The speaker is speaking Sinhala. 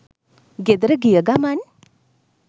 ගෙදර ගිය ගමන්